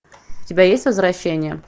у тебя есть возвращение